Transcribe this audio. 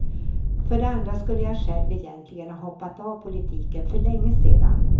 För det andra skulle jag själv egentligen ha hoppat av politiken för länge sedan.